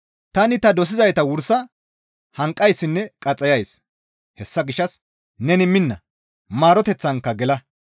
Tani ta dosizayta wursa hanqayssinne qaxxayays; hessa gishshas neni minna; maaroteththanka gela.